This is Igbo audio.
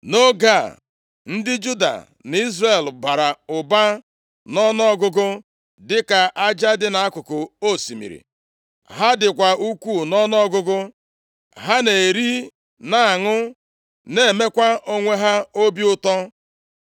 Nʼoge a, ndị Juda na Izrel bara ụba nʼọnụọgụgụ dịka aja dị nʼakụkụ osimiri. Ha dịkwa ukwuu nʼọnụọgụgụ. Ha na-eri na-aṅụ, na-emekwa onwe ha obi ụtọ.